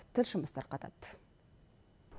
тілшіміз тарқатады